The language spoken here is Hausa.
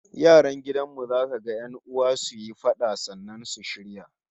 Yaran gidan mu za kaga 'yan'uwa suyi fada, sannan su shirya